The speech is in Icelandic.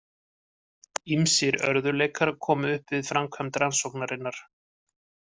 Ýmsir örðugleikar komu upp við framkvæmd rannsóknarinnar.